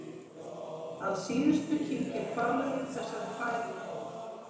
Að síðustu kyngir hvalurinn þessari fæðu niður.